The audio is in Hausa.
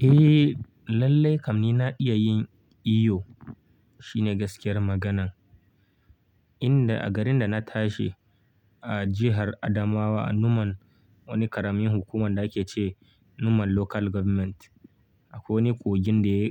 Eh, lallai kam ni na iya yin iyo. Shine gaskiyar maganan. Inda a garin da na tashi a jihar Adamawa a Numan, wani ƙaramin hukumar da ake ce Numan Local Government. Akwai wani kogin da